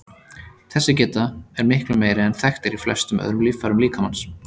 Þessi geta er miklu meiri en þekkt er í flestum öðrum líffærum líkamans.